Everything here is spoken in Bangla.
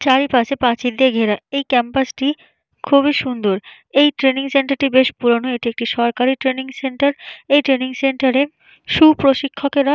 চারি পাশে পাঁচিল দিয়ে ঘেরা। এই ক্যাম্পাসটি খুবই সুন্দর। এই ট্রেনিং সেন্টার বেশ পুরনো। এটি একটি সরকারি ট্রেনিং সেন্টার । এই ট্রেনিং সেন্টারে সু প্রশিক্ষকরা।